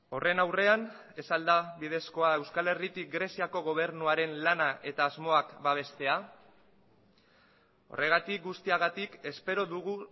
horren aurrean ez al da bidezkoa euskal herritik greziako gobernuaren lana eta asmoak babestea horregatik guztiagatik espero dugu